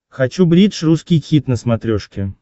хочу бридж русский хит на смотрешке